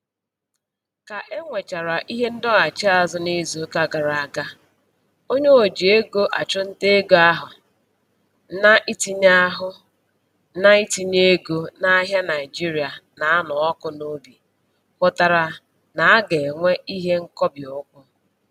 Ka e nwechara ihe ndọghachi azụ n'izuụka gara aga, onye oji ego achụ nta ego ahụ na-itinye ahụ na-itinye ego n'ahịa Naịjirịa na-anụ ọkụ n'obi hụtara na-aga enwe ihe nkobi ụkwụ